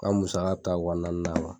Ka musaka bi taa wa naani na